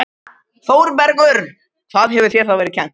ÞÓRBERGUR: Hvað hefur þér þá verið kennt?